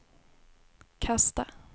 kasta